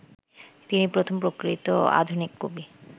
তিনি প্রথম প্রকৃত আধুনিক কবি